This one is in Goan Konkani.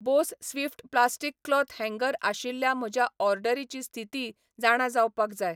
बोस स्विफ्ट प्लास्टीक क्लॉथ हँगर आशिल्ल्या म्हज्या ऑर्डरीची स्थिती जाणा जावपाक जाय